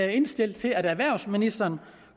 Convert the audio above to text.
henstille til at erhvervsministeren